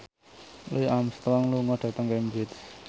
Louis Armstrong lunga dhateng Cambridge